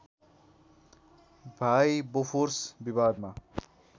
भाइ बोफोर्स विवादमा